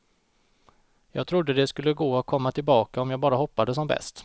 Jag trodde det skulle gå att komma tillbaka om jag bara hoppade som bäst.